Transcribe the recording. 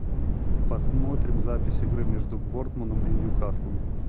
посмотрим запись игры между борнмутом и ньюкаслом